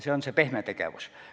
See on pehme tegevus.